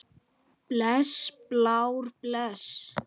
Bless Blár, bless.